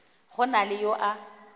go na le yo a